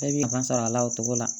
Bɛɛ b'i ban sɔrɔ a la o togo la